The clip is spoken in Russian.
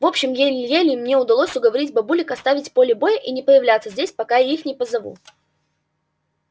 в общем еле-еле мне удалось уговорить бабулек оставить поле боя и не появляться здесь пока я их не позову